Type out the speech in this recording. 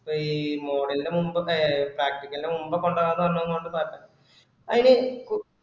ഇപ്ഈ model ന് മുൻപ് practical ന് മുൻപ് കൊണ്ടോവാന്ന് പറഞ്ഞതൊണ്ട് പറഞ്ഞയ അയ്ന് കു